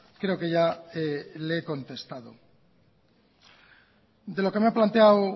creo que ya le he contestado de lo que me ha planteado